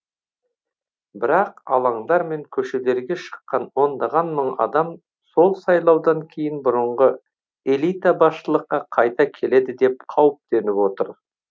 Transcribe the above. бірақ алаңдар мен көшелерге шыққан ондаған мың адам сол сайлаудан кейін бұрынғы элита басшылыққа қайта келеді деп қауіптеніп отыр